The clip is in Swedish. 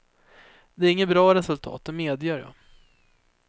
Det är inget bra resultat, det medger jag.